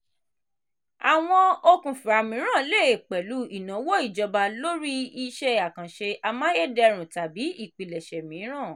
àwọn okùnfà mìíràn le pẹ̀lú ìnáwó ìjọba lórí iṣẹ́ àkànṣe amáyédẹrùn tàbí ìpilẹ̀ṣẹ̀ mìíràn.